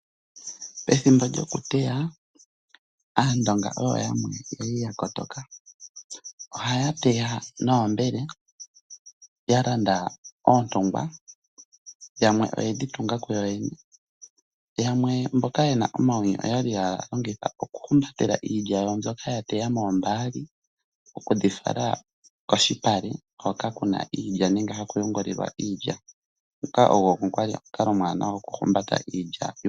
Pethimbo lyokuteya aandonga oyo yamwe yali ya kotoka .Ohaya teya noombele ,ya landa oondungwa yamwe oyedhi tunga yoyene yamwe mboka yena omawino oyali ya longitha iilya yawo mbyoka ya teya moombaali okudhifala kolupale hoka kuna iilya nenge haku yungululwa iilya. Nguka ogo kwali omukalo omuwanawa goku humbata iilya.